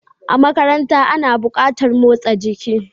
A makaranta ana buƙatar motsa jiki.